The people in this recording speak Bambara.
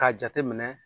K'a jate minɛ